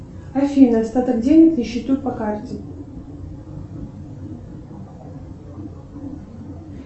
афина остаток денег на счету по карте